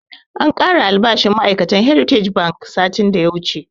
An kara albashin ma'ai'katan heritage bank satin da ya wuche